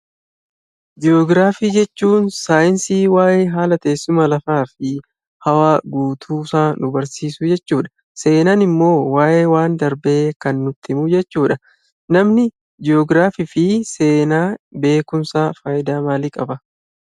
Ji'ogiraafii jechuun saayinsii waa'ee haala teessuma lafaa fi hawaa guutuu isaa nu barsiisu jechuudha. Seenaan immoo waa'ee waan darbee kan nutti himu jechuudha. Namni Ji'ogiraafii fi Seenaa beekumsaa faayidaa maalii qaba?